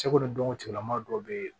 Cɛko dɔn cogola maa dɔw be yen